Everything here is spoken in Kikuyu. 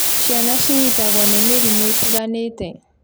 Ciana cinyitagwo nĩ mĩrimũ ĩtiganite